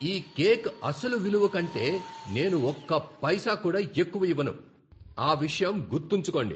ఈ కేక్ అసలు విలువ కంటే నేను ఒక్క పైసా కూడా ఎక్కువ ఇవ్వను! ఆ విషయం గుర్తుంచుకోండి!